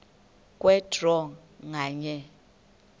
kwe draw nganye